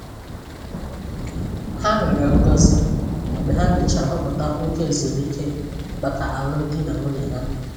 Ha rịọrọ ngozi mgbe ha mechara họpụta oge ezumike maka alụmdi na nwunye ha.